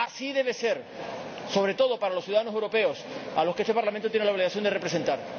debe serlo sobre todo para los ciudadanos europeos, a los que este Parlamento tiene la obligación de representar.